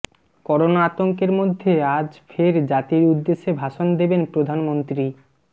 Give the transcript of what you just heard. corona আতঙ্কের মধ্যে আজ ফের জাতির উদ্দেশে ভাষণ দেবেন প্রধানমন্ত্রী